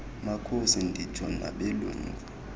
makhosi nditsho nabelungu